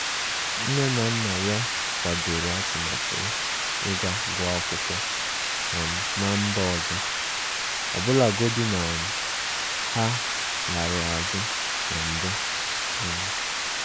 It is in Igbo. Nne na nna ya kwadoro atụmatụ ya iga guọ akwụkwọ um na mba ọzọ, ọbụlagodi na um ha larụ azụ na mbụ. um